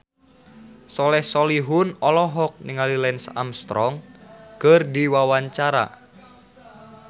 Soleh Solihun olohok ningali Lance Armstrong keur diwawancara